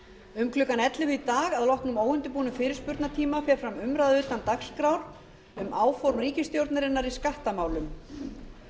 um klukkan ellefu í dag að loknum óundirbúnum fyrirspurnatíma fer fram umræða utan dagskrár um áform ríkisstjórnarinnar í skattamálum